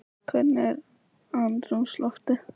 Hvernig var andrúmsloftið?